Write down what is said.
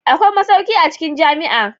Akwai masauki a cikin jami'a.